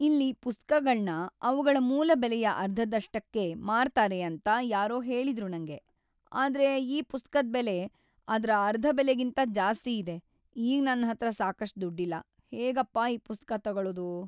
ಇಲ್ಲಿ ಪುಸ್ತಕಗಳ್ನ ಅವ್ಗಳ ಮೂಲ ಬೆಲೆಯ ಅರ್ಧದಷ್ಟಕ್ಕೆ ಮಾರ್ತಾರೆ ಅಂತ ಯಾರೋ ಹೇಳಿದ್ರು ನಂಗೆ. ಆದ್ರೆ ಈ ಪುಸ್ತಕದ್ ಬೆಲೆ ಅದ್ರ ಅರ್ಧ ಬೆಲೆಗಿಂತ ಜಾಸ್ತಿಯಿದೆ. ಈಗ್‌ ನನ್ಹತ್ರ ಸಾಕಷ್ಟ್‌ ದುಡ್ಡಿಲ್ಲ, ಹೇಗಪ್ಪ ಈ ಪುಸ್ತಕ ತಗೊಳೋದು?